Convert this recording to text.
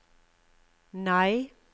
nei